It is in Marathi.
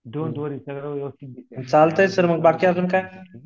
डोन्ट वरी सगळं व्यवस्थित दिसेल ठीक हे